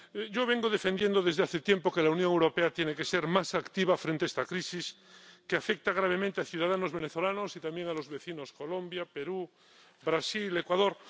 Yo vengo defendiendo desde hace tiempo que la Unión Europea tiene que ser más activa frente a esta crisis que afecta gravemente a ciudadanos venezolanos y también a los vecinos Colombia, Perú, Brasil y Ecuador.